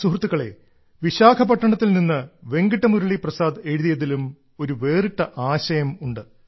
സുഹൃത്തുക്കളേ വിശാഖപട്ടണത്തിൽ നിന്ന് വെങ്കിട്ട മുരളി പ്രസാദ് എഴുതിയതിലും ഒരു വേറിട്ട ആശയമുണ്ട്